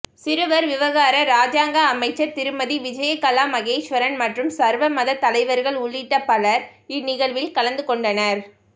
சிறுவர் விவகார இராஜாங்க அமைச்சர் திருமதி விஜயகலா மகேஸ்வரன் மற்றும் சர்வ மத தலைவர்கள் உள்ளிட்ட பலர் இந்நிகழ்வில் கலந்துகொண்டனர்